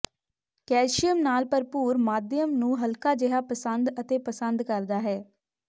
calcium ਨਾਲ ਭਰਪੂਰ ਮਾਧਿਅਮ ਨੂੰ ਹਲਕਾ ਜਿਹਾ ਪਸੰਦ ਅਤੇ ਪਸੰਦ ਕਰਦਾ ਹੈ